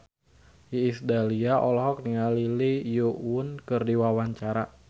Iis Dahlia olohok ningali Lee Yo Won keur diwawancara